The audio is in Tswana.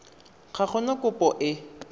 ga go na kopo e